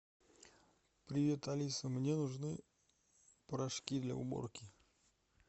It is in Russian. привет алиса мне нужны порошки для уборки